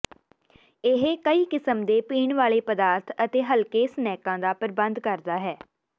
ਇਹ ਕਈ ਕਿਸਮ ਦੇ ਪੀਣ ਵਾਲੇ ਪਦਾਰਥ ਅਤੇ ਹਲਕੇ ਸਨੈਕਾਂ ਦਾ ਪ੍ਰਬੰਧ ਕਰਦਾ ਹੈ